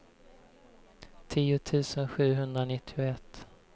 tio tusen sjuhundranittioett